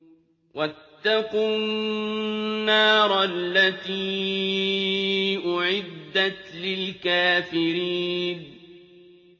وَاتَّقُوا النَّارَ الَّتِي أُعِدَّتْ لِلْكَافِرِينَ